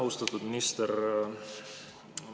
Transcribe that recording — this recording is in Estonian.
Austatud minister!